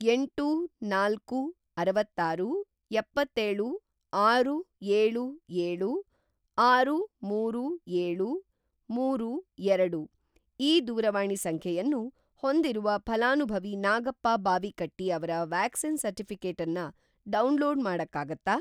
ಎಂಟು, ನಾಲ್ಕು, ಅರವತ್ತಾರು, ಎಪ್ಪತ್ತೇಳು, ಆರು, ಏಳು, ಏಳು, ಆರು, ಮೂರು, ಏಳು, ಮೂರು, ಎರಡು ಈ ದೂರವಾಣಿ ಸಂಖ್ಯೆಯನ್ನು ಹೊಂದಿರುವ ಫಲಾನುಭವಿ ನಾಗಪ್ಪ ಬಾವಿಕಟ್ಟಿ ಅವ್ರ ವ್ಯಾಕ್ಸಿನ್ ಸರ್ಟಿಫಿ಼ಕೇಟನ್ನ ಡೌನ್‌ಲೋಡ್‌ ಮಾಡಕ್ಕಾಗತ್ತಾ?